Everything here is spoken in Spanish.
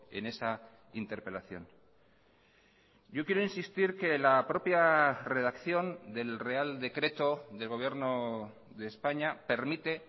en esa interpelación yo quiero insistir que la propia redacción del real decreto del gobierno de españa permite